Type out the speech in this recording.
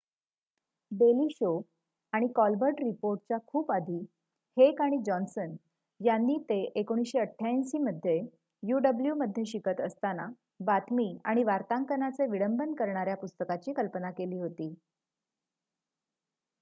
daily Show आणि Colbert रिपोर्टच्या खूप आधी हेक आणि जॉन्ससन यांनी ते १९८८ मध्ये uw मध्ये शिकत असताना बातमी आणि वार्तांकनाचे विडंबन करणाऱ्या पुस्तकाची कल्पना केली होती